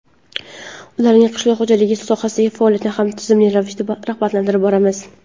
ularning qishloq xo‘jaligi sohasidagi faoliyatini ham tizimli ravishda rag‘batlantirib boramiz.